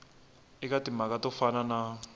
eka timhaka to fana na